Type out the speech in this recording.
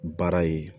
Baara ye